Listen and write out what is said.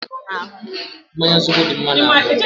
Mmanya zobo dị mma n'ahụ.